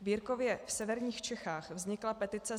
V Jirkově v severních Čechách vznikla petice